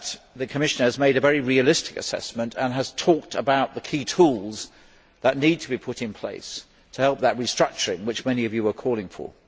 The Commission has made a very realistic assessment and has talked about the key tools that need to be put in place to help in the restructuring which many Members are calling for.